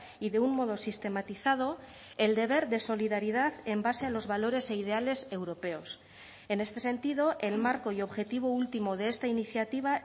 y de un modo sistematizado el deber de solidaridad en base a los valores e ideales europeos en este sentido el marco y objetivo último de esta iniciativa